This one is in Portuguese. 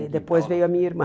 E depois veio a minha irmã.